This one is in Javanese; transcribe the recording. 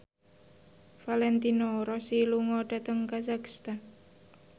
Valentino Rossi lunga dhateng kazakhstan